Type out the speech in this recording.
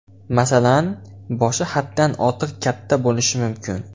Masalan, boshi haddan ortiq katta bo‘lishi mumkin.